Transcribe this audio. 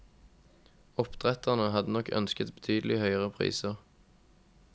Oppdretterne hadde nok ønsket betydelig høyere priser.